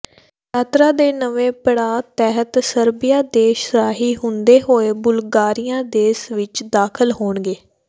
ਯਾਤਰਾ ਦੇ ਨਵੇਂ ਪੜਾਅ ਤਹਿਤ ਸਰਬੀਆ ਦੇਸ਼ ਰਾਹੀਂ ਹੁੰਦੇ ਹੋਏ ਬੁਲਗਾਰੀਆ ਦੇਸ਼ ਵਿਚ ਦਾਖ਼ਲ ਹੋਣਗੇ